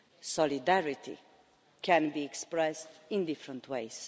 Solidarity can be expressed in different ways.